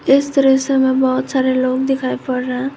इस दृश्य में बहुत सारे लोग दिखाई पड़ रहे हैं।